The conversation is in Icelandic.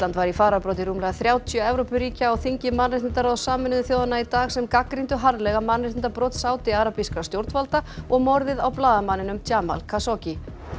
var í fararbroddi rúmlega þrjátíu Evrópuríkja á þingi mannréttindaráðs Sameinuðu þjóðanna í dag sem gagnrýndu harðlega mannréttindabrot sádiarabískra stjórnvalda og morðið á blaðamanninum Jamal Khashoggi